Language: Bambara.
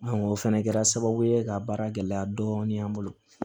o fɛnɛ kɛra sababu ye ka baara gɛlɛya dɔɔnin an bolo